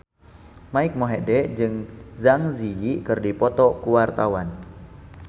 Mike Mohede jeung Zang Zi Yi keur dipoto ku wartawan